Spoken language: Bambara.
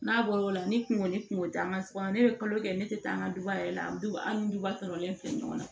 N'a bɔla ni kungo ni kunko taama ne ye kalo kɛ ne tɛ taa an ka duba yɛrɛ la an duba an ni duba tɔɔrɔlen filɛ ɲɔgɔn na